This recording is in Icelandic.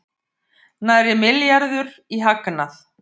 Nærri milljarður í hagnað